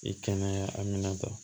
I kɛnɛ aminanta